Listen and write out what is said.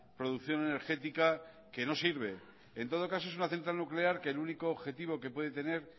producción energética que no sirve en todo caso es una central nuclear que el único objetivo que puede tener